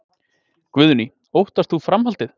Guðný: Óttast þú framhaldið?